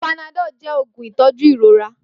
Panadol jẹ oogun itọju irora.